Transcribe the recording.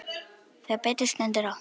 Þegar betur stendur á.